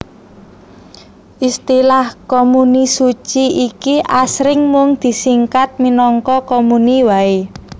Istilah komuni suci iki asring mung disingkat minangka komuni waé